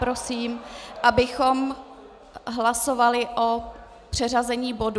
Prosím, abychom hlasovali o přeřazení bodu.